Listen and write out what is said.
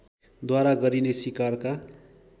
द्वारा गरिने सिकारका